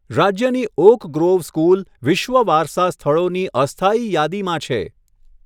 રાજ્યની Oak Grove School વિશ્વ વારસા સ્થળોની અસ્થાયી યાદીમાં છે.